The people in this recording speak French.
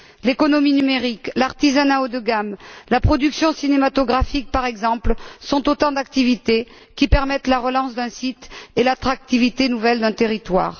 L'économie numérique, l'artisanat haut de gamme, la production cinématographique, par exemple, sont autant d'activités qui permettent la relance d'un site et redonnent de l'attrait à un territoire.